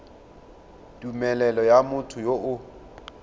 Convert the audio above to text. tumelelo ya motho yo o